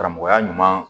Karamɔgɔya ɲuman